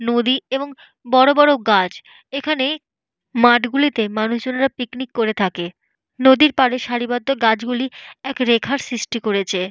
নদী এবং বড় বড় গাছ। এখানে মাঠ গুলিতে মানুষজনেরা পিকনিক করে থাকে। নদীর পাড়ে সারিবদ্ধ গাছগুলি এক রেখার সৃষ্টি করেছে।